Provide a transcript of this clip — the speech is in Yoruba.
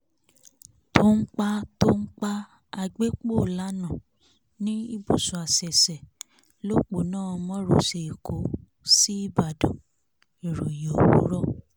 tọ́ńpà tọ́ńpà agbépo lànà ní ìbùṣọ àṣeéṣe lọ́pọ̀nà mọrọsẹ̀ ẹ̀kọ́ sí ìbàdàn ìròyìn òwúrọ̀